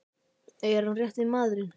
Er hann rétti maðurinn?